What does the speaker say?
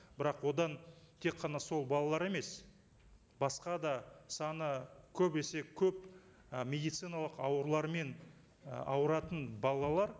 бірақ одан тек қана сол балалар емес басқа да саны көп есе көп і медициналық аурулармен і ауыратын балалар